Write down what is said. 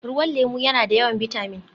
Ruwan lemu yana da yawan bitamin